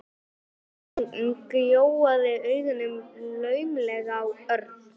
Hún gjóaði augunum laumulega á Örn.